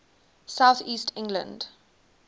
south east england